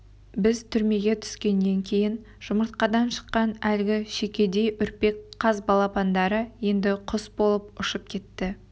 біз түрмеге түскеннен кейін жұмыртқадан шыққан әлгі шүйкедей үрпек қаз балапандары енді құс болып ұшып кетті